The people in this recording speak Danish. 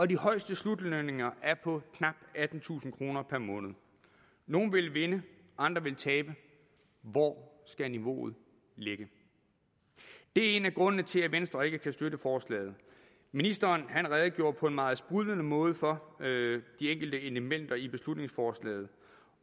de højeste slutlønninger er på knap attentusind kroner per måned nogle ville vinde andre ville tabe hvor skal niveauet ligge det er en af grundene til at venstre ikke kan støtte forslaget ministeren redegjorde på en meget sprudlende måde for de enkelte elementer i beslutningsforslaget